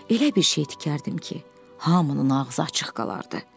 Elə bir şey tikərdim ki, hamının ağzı açıq qalardı.